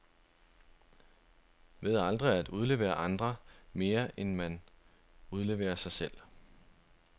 Ved aldrig at udlevere andre, mere end man udleverer sig selv.